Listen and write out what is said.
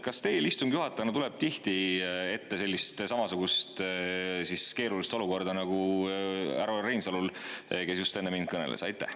Kas teil istungi juhatajana tuleb tihti ette samasugust keerulist olukorda nagu härra Reinsalul, kes just enne mind kõneles?